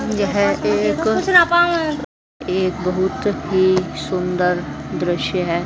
यह एक एक बहुत ही सुंदर दृश्य है।